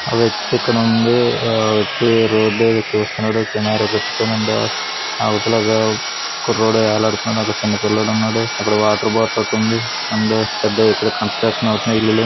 ఆ వ్యక్తి ఇక్కడ ఉంది ఆ వ్యక్తి రోడ్డు ఏదో చుస్తున్నాడు కెమేరా పెట్టుకుని ఉన్నాడు అవతల కుర్రోడు వేలాడుతున్నాడు అక్కడ చిన్నపిల్లడు ఉన్నాడు అక్కడ వాటర్ బాటిల్ ఒకటి ఉంది అండ్ పెద్దగా ఇక్కడ కన్స్స్ట్రక్షన్ అవుతున్నాయి ఇల్లులు.